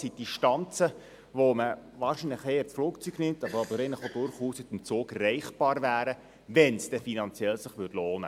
Dies sind Distanzen, die man wahrscheinlich eher mit dem Flugzeug zurücklegt, die aber durchaus mit dem Zug machbar wären, wenn es sich denn finanziell lohnte.